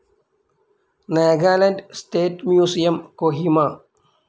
Nagaland state museum, Kohima